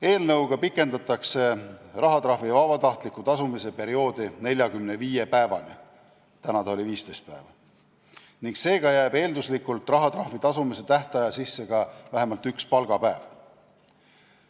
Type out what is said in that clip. Eelnõuga pikendatakse rahatrahvi vabatahtliku tasumise perioodi 45 päevani ning seega jääb eelduslikult rahatrahvi tasumise tähtaja sisse ka vähemalt üks palgapäev.